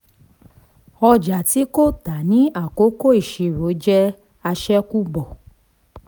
ọjà tí kò tà ní àkókò ìṣirò jẹ́ àṣẹ̀kùbọ̀.